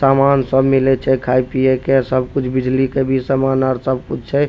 सामान सब मिले छै खाय-पिये के सब कुछ बिजली के भी सामान आर सब कुछ छै।